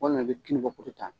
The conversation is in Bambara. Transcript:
i be ka ta.